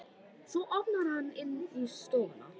Svo opnar hann inn í stofuna.